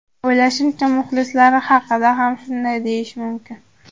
O‘ylashimcha, muxlislar haqida ham shunday deyish mumkin.